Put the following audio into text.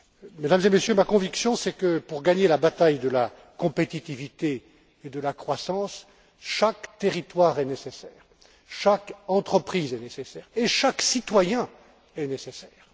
Mesdames et Messieurs, ma conviction est que, pour gagner la bataille de la compétitivité et de la croissance, chaque territoire est nécessaire, chaque entreprise est nécessaire et chaque citoyen est nécessaire.